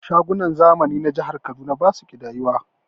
Shagunan zamani na jihar Kaduna basu ƙidayuwa